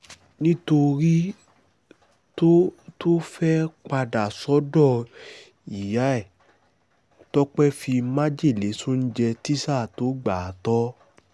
nítorí tó fẹ́ẹ́ padà sọ́dọ̀ ìyá ẹ̀ tọ́pẹ́ fi májèlé sóúnjẹ tísà tó gbà á tó